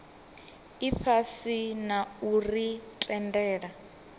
ifhasi na u ri tendela